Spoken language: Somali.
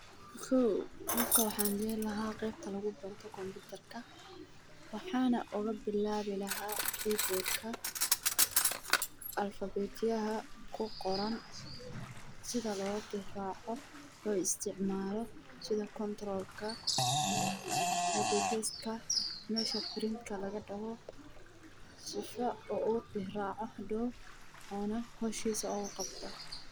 Kow qofka waxaan geeyni lahaa qeebta lagu barto waxaan baru lahaa sida loo isticmaala meesha loogala baxo si howhiisa ooga qabto.